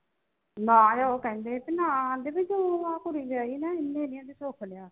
ਨਾ ਉਹ ਕਹਿੰਦੇ ਬਈ ਨਾ ਆਂਦੇ ਬਈ ਤੂੰ ਆਂ ਕੁੜੀ ਵਿਆਹੀ ਨਾ ਇੰਨੇ ਨੀ ਸੁਖ ਲਿਆ